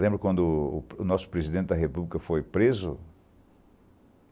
Lembra quando o nosso Presidente da República foi preso?